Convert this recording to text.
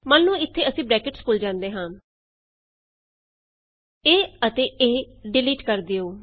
ਮੰਨ ਲਉ ਇਥੇ ਅਸੀਂ ਬਰੈਕਟਸ ਭੁੱਲ ਜਾਂਦੇ ਹਾਂ ਇਹ ਅਤੇ ਇਹ ਡਿਲੀਟ ਕਰ ਦਿਉ